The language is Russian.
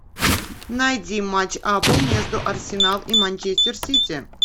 найди матч апл между арсенал и манчестер сити